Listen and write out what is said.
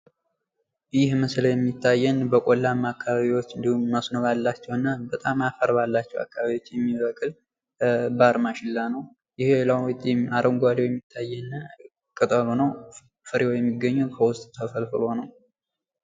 ይህ ምስል የሚታየን በቆላማ አከባቢዎች እንዲሁም መስሎ ባላቸው እና በጣም አፈር ባለባቸው አከባቢዎች የሚበቅል ባር ማሽላ ነው። ይህ የሚታየን ፍሬው ተፈልፍሎ ነው።